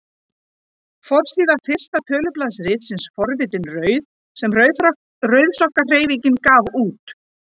Forsíða fyrsta tölublaðs ritsins Forvitin rauð sem Rauðsokkahreyfingin gaf út.